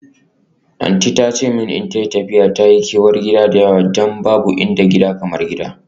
Aunty ta ce min idan tayi tafiya ta yi kewar gida da yawa don babu inda gida kamar gida.